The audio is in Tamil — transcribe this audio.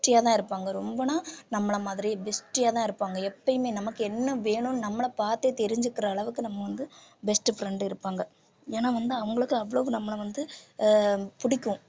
bestie ஆ தான் இருப்பாங்க ரொம்பன்னா நம்மளை மாதிரி bestie யாதான் இருப்பாங்க எப்பயுமே நமக்கு என்ன வேணும்ன்னு நம்மளை பார்த்தே தெரிஞ்சுக்கிற அளவுக்கு நம்ம வந்து best friend இருப்பாங்க ஏன்னா வந்து அவங்களுக்கு அவ்வளவு நம்மளை வந்து ஆஹ் பிடிக்கும்